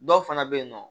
Dɔw fana bɛ yen nɔ